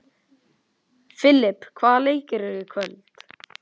Filip, hvaða leikir eru í kvöld?